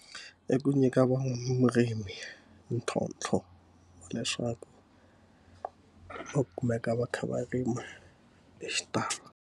I ku nyika van'wamurimi ntlhontlho leswaku va kumeka va kha va rima hi xitalo.